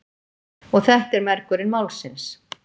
Og þetta er mergurinn málsins.